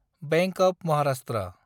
bank of Maharashtra